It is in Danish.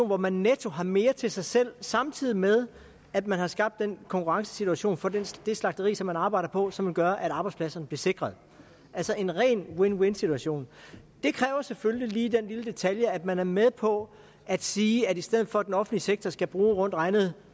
hvor man netto har mere til sig selv samtidig med at man har skabt den konkurrencesituation for det slagteri som man arbejder på og som vil gøre at arbejdspladserne bliver sikret altså en ren win win situation det kræver selvfølgelig lige den lille detalje at man er med på at sige at i stedet for at den offentlige sektor skal bruge rundt regnet